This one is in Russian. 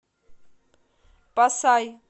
пасай